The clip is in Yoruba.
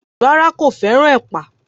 Rárá, kò fẹ́ràn ẹ̀pà